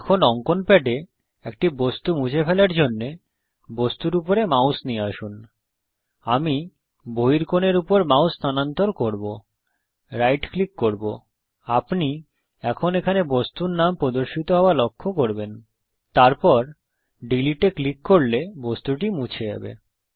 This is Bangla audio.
এখন অঙ্কন প্যাডে একটি বস্তু মুছে ফেলার জন্যে বস্তুর উপরে মাউস নিয়ে আসুন আমি বহিঃকোণের উপর মাউস স্থানান্তর করব রাইট ক্লিক করব আপনি এখন এখানে বস্তুর নাম প্রদর্শিত হওয়া লক্ষ্য করবেন তারপর ডিলীটে ক্লিক করলে বস্তুটি মুছে যাবে